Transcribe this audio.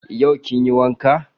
Yau kin yi wanka?